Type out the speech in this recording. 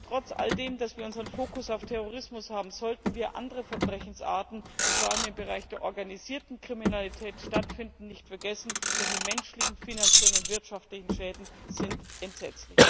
Trotz der Tatsache, dass wir unseren Fokus auf Terrorismus haben, sollten wir andere Verbrechensarten, die vor allem im Bereich der organisierten Kriminalität stattfinden, nicht vergessen, denn die menschlichen, finanziellen und wirtschaftlichen Schäden sind entsetzlich.